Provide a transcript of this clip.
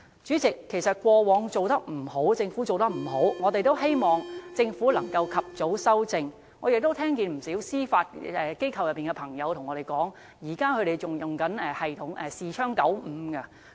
主席，政府過往做得不好的地方，我們希望它可以及早修正，我亦聽到不少在司法機構工作的朋友告訴我，指他們現時仍然在使用視窗95作業系統。